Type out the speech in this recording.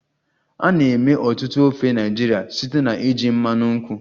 A na-eme ọtụtụ ofe Naịjirịa site na iji mmanụ nkwụ